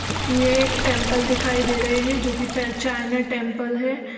यह एक टेंपल दिखाई दे रहे हैं जो कि ट-चाइना टेंपल है ।